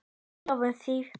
Því lofum við þér!